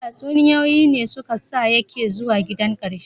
Tatsuniyoyi ne su ka sa ya ke zuwa gidan kakarsa